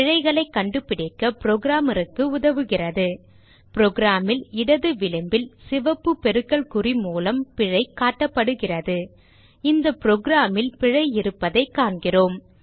பிழைகளைக் கண்டுபிடிக்க programmer க்கு உதவுகிறது program ல் இடது விளிம்பில் சிவப்பு பெருக்கல் குறி மூலம் பிழை காட்டப்படுகிறது இந்த program ல் ஒரு பிழை இருப்பதை காண்கிறோம்